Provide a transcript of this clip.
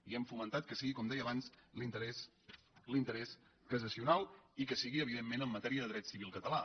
i hem fomentat que sigui com deia abans l’interès cassacional i que sigui evidentment en matèria de dret civil català